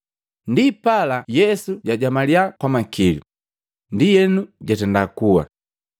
Ndipala Yesu jajamalya kwa makili, ndienu jatenda kuwa.